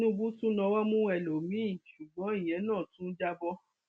tinúbù tún nawọ mú ẹlòmíín ṣùgbọn ìyẹn náà tún já bọ